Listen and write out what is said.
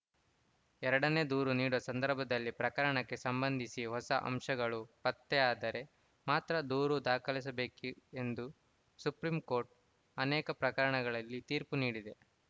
ಎರಡನೇ ದೂರು ನೀಡುವ ಸಂದರ್ಭದಲ್ಲಿ ಪ್ರಕರಣಕ್ಕೆ ಸಂಬಂಧಿಸಿ ಹೊಸ ಅಂಶಗಳು ಪತ್ತೆಯಾದರೆ ಮಾತ್ರ ದೂರು ದಾಖಲಿಸಬೇಕು ಎಂದು ಸುಪ್ರೀಂ ಕೋರ್ಟ್‌ ಅನೇಕ ಪ್ರಕರಣಗಳಲ್ಲಿ ತೀರ್ಪು ನೀಡಿದೆ